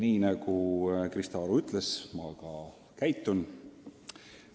Nii nagu Krista Aru ütles, nii ma ka teen.